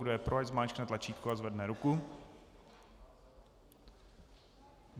Kdo je pro, ať zmáčkne tlačítko a zvedne ruku.